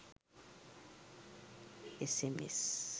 sms